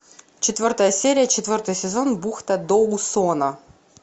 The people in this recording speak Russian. четвертая серия четвертый сезон бухта доусона